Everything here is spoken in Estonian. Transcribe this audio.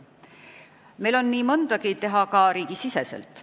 Meil on nii mõndagi teha ka riigis sees.